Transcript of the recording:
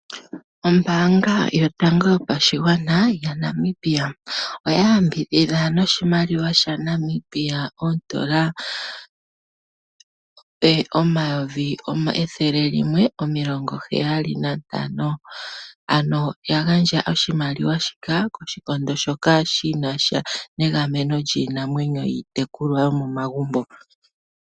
Ombaanga yotango yopashigwana ya Namibia oya yambidhidha noshimaliwa sha Namibia oondola omayovi ethele limwe omilongo heyali nantano ,Ano ya gandja oshimaliwa shika koshikondo shoka shinasha negameno lyiinamwenyo yiitekulwa yo momagumbo